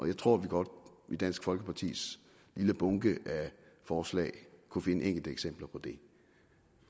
jeg tror at vi godt i dansk folkepartis lille bunke af forslag kunne finde enkelte eksempler på det